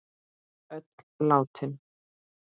Öll látin.